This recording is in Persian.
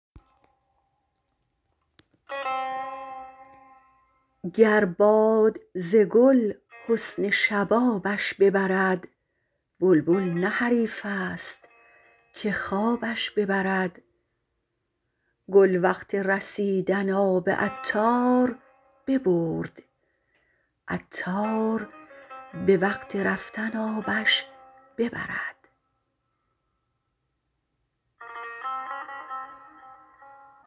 گر باد ز گل حسن شبابش ببرد بلبل نه حریفست که خوابش ببرد گل وقت رسیدن آب عطار ببرد عطار به وقت رفتن آبش ببرد